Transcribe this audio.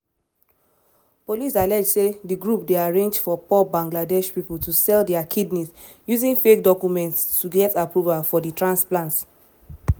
police allege say di group dey arrange for poor bangladesh pipo to sell dia kidneys using fake documents to get approval for di transplants.